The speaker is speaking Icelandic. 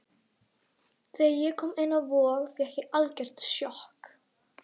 Þegar ég kom inn á Vog fékk ég algjört sjokk.